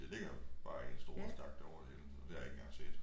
Det ligger jo bare i en stor stak dér over det hele så det har jeg ikke engang set